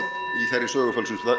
þeirri sögufölsun